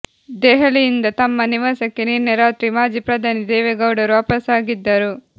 ದೆಹಲಿಯಿಂದ ತಮ್ಮ ನಿವಾಸಕ್ಕೆ ನಿನ್ನೆ ರಾತ್ರಿ ಮಾಜಿ ಪ್ರಧಾನಿ ದೇವೇಗೌಡರು ವಾಪಾಸ್ಸಾಗಿದ್ದರು